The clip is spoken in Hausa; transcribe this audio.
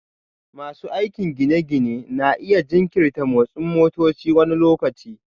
Masu aikin gine-ginen na iya jinkirta motsin motoci wani lokaci